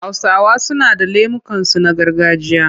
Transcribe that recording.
Hausawa suna da lemukansu na gargajiya.